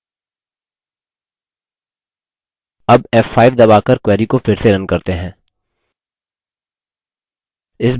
अब f5 दबाकर query को फिर से now करते हैं